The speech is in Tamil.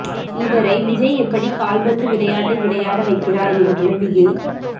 இவரை விஜய் எப்படி கால்பந்து விளையாட்டை விளையாட வைக்கிறார் என்று பிகில்